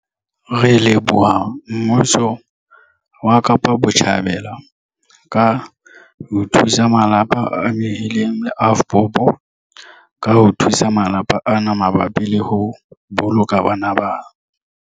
Re leboha mmuso wa Kapa Botjhabela ka ho thusa malapa a amehileng le AVBOB ka ho thusa malapa ana mabapi le ho boloka bana bana.